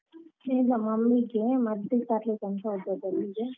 ಇಲ್ಲ mummy ಗೆ ಮದ್ದು ತರ್ಲಿಕಂತ ಹೋದದ್ದು ಅಲ್ಲಿಗೆ.